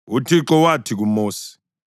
UThixo wathi kuMosi,